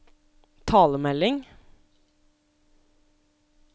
talemelding